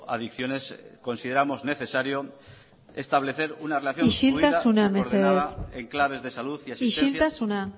adiciones consideramos necesario establecer una relación isiltasuna mesedez isiltasuna